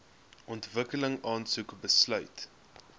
ontwikkeling aansoek besluit